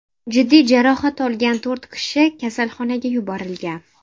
Jiddiy jarohat olgan to‘rt kishi kasalxonaga yuborilgan.